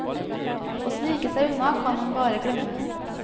Å snike seg unna, kan han bare glemme.